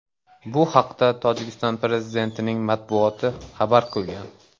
Bu haqda Tojikiston prezidentining matbuot xizmati xabar qilgan .